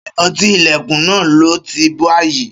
Ṣé ọtí Ìlẹ̀kùn náà, lọọ tí báyìí